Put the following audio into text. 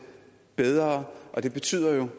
bedre og det betyder